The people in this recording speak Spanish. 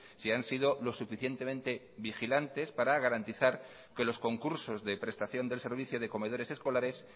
si han sido lo suficientemente vigilantes para garantizar que los concursos de prestación del servicio de comedores escolares